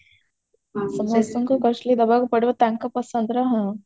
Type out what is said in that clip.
ହଁ ସମସ୍ତଙ୍କୁ costly ଦବାକୁ ପଡିବ ତାଙ୍କ ପସନ୍ଦର ହଁ